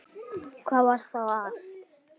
Hvað var þá að?